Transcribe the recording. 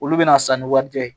Olu bɛna sanni wari kɛ